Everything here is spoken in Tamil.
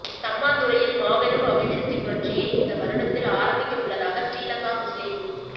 சம்மாந்துறையில் மாபெரும் அபிவிருத்திப் புரட்சியை இந்த வருடத்தில் ஆரம்பிக்கவுள்ளதாக ஸ்ரீலங்கா முஸ்லிம